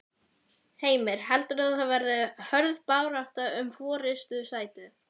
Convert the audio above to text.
Heimir: Heldurðu að það verði hörð barátta um forystusætið?